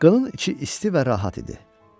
Qının içi isti və rahat idi.